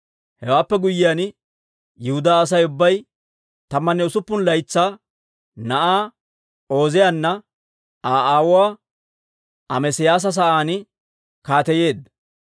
Hewaappe guyyiyaan, Yihudaa Asay ubbay tammanne usuppun laytsaa na'aa Ooziyaana Aa aawuwaa Amesiyaasa sa'aan kaateyeedda.